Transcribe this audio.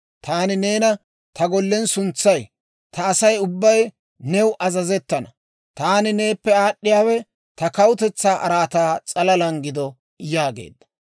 Taani neena ta gollen suntsay; ta Asay ubbay new azazettana; taani neeppe aad'd'iyaawe ta kawutetsaa araataa s'alalaana gido» yaageedda.